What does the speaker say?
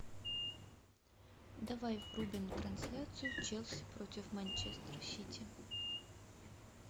давай врубим трансляцию челси против манчестер сити